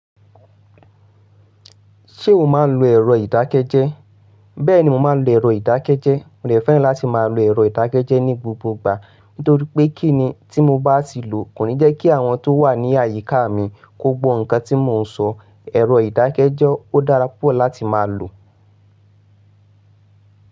Ṣé o máa ń lo ẹ̀rọ ìdákẹ́jẹ́? Bẹ́ẹ̀ni mo máa ń lo ẹ̀rọ ìdákẹ́jẹ́. Mo rẹ̀ fẹ́ràn láti máa lo ẹ̀rọ ìdákẹ́jẹ́ ní gbogbo ìgbà, nítorí pé kíni tí mo bá ti lò kò ní jẹ́ kí àwọn tó wà ní àyíká mi kó gbọ́ nǹkan tí mò ń sọ. Ẹ̀rọ ìdákẹ́jẹ́ ó dára púpọ̀ láti máa lò.